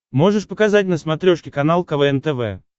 можешь показать на смотрешке канал квн тв